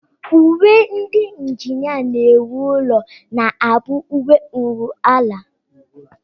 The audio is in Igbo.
Uwe ndị njinịa na-ewu ụlọ na-abụ uwe nruala